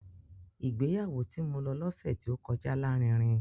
Ìgbéyàwó tí mo lọ lọ́sẹ̀ tí ó kọjá lárinrin